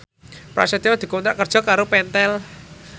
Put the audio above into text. Prasetyo dikontrak kerja karo Pentel